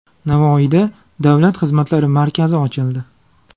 Navoiyda Davlat xizmatlari markazi ochildi.